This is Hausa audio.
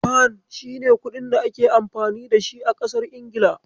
Fan shine kuɗin da ake amfani dashi a kasar Ingila.